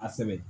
A sɛbɛn